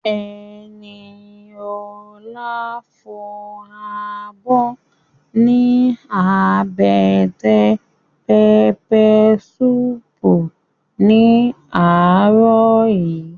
Ẹniolá fọ abọ́ ní àbẹ́tẹ̀ pẹpẹ suupu ní àárọ̀ yìí